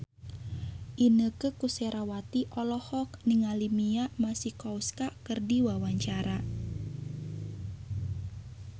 Inneke Koesherawati olohok ningali Mia Masikowska keur diwawancara